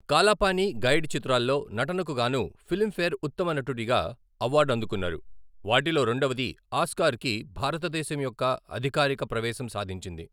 కాలా పానీ', 'గైడ్' చిత్రాల్లో నటనకు గాను ఫిలింఫేర్ ఉత్తమ నటుడిగా అవార్డు అందుకున్నారు, వాటిలో రెండవది ఆస్కార్కి భారతదేశం యొక్క అధికారిక ప్రవేశం సాధించింది.